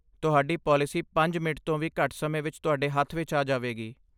ਤੁਹਾਡੀ ਪਾਲਿਸੀ ਪੰਜ ਮਿੰਟ ਤੋਂ ਵੀ ਘੱਟ ਸਮੇਂ ਵਿੱਚ ਤੁਹਾਡੇ ਹੱਥ ਵਿੱਚ ਆ ਜਾਵੇਗੀ